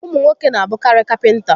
Ụmụ nwoke n'abụkarị kapịnta